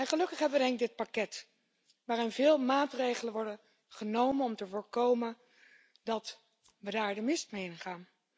Gelukkig hebben we dit pakket, waarin veel maatregelen worden genomen om te voorkomen dat we daar de mist mee ingaan.